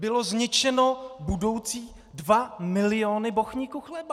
Byly zničeny budoucí dva miliony bochníků chleba!